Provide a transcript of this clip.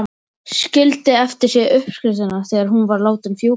Skildi eftir sig uppskriftina þegar hún var látin fjúka.